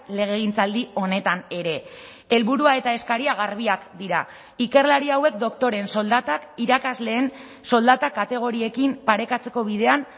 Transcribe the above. legegintzaldi honetan ere helburua eta eskaria garbiak dira ikerlari hauek doktoreen soldatak irakasleen soldatak kategoriekin parekatzeko bidean